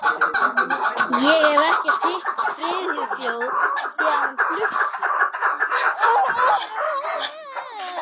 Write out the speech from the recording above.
Ég hef ekkert hitt Friðþjóf síðan hann flutti.